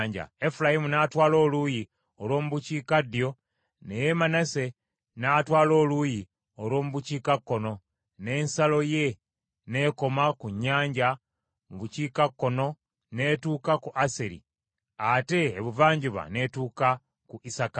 Efulayimu n’atwala oluuyi olw’omu bukiikaddyo ne Manase n’atwala oluuyi olw’omu bukiikakkono n’ensalo ye n’ekoma ku nnyanja mu bukiikakkono n’etuuka ku Aseri ate ebuvanjuba n’etuuka ku Isakaali.